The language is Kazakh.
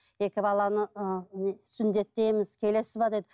екі баланы ы не сүндеттейміз келесіз бе деді